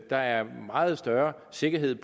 der er meget større sikkerhed